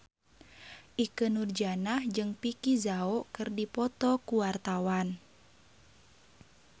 Ikke Nurjanah jeung Vicki Zao keur dipoto ku wartawan